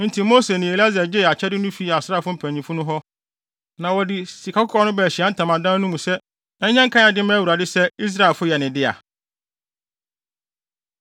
Enti Mose ne Eleasar gyee akyɛde no fii asraafo mpanyimfo no hɔ, na wɔde sikakɔkɔɔ no baa Ahyiae Ntamadan no mu sɛ ɛnyɛ nkae ade mma Awurade sɛ Israelfo yɛ ne dea.